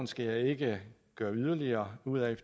skal jeg ikke gøre yderligere ud af